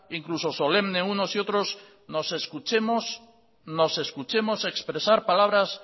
incluso solemne uno y otros nos escuchemos expresar palabra